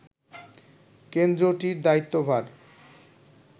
কেন্দ্রটির দায়িত্ব ভার